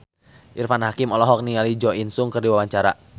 Irfan Hakim olohok ningali Jo In Sung keur diwawancara